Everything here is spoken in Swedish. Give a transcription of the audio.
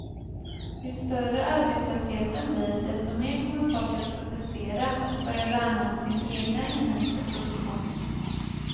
Ju större arbetslösheten blir desto mer kommer folk att protestera och börja värna om sin egna inhemska produktion.